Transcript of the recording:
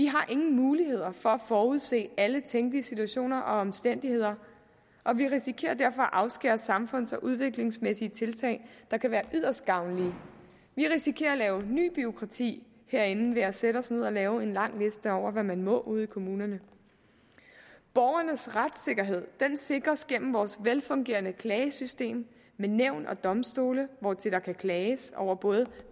har ingen mulighed for at forudse alle tænkelige situationer og omstændigheder og vi risikerer derfor at afskære os fra samfunds og udviklingsmæssige tiltag der kan være yderst gavnlige vi risikerer at lave nyt bureaukrati herinde ved at sætte os ned og lave en lang liste over hvad man må ude i kommunerne borgernes retssikkerhed sikres gennem vores velfungerende klagesystem med nævn og domstole hvortil der kan klages over både